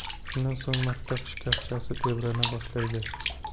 Shundan so‘ng maktab shkafchasi tebrana boshlaydi.